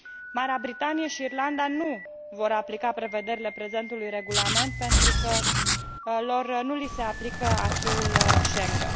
Marea Britanie și Irlanda nu vor aplica prevederile prezentului regulament pentru că lor nu li se aplică acquis ul Schengen.